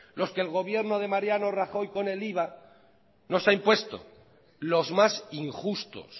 los que el gobierno de mariano rajoy con el iva nos ha impuesto los más injustos